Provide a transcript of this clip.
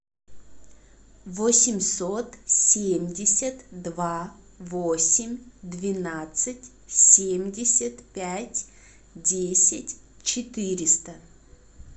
восемьсот семьдесят два восемь двенадцать семьдесят пять десять четыреста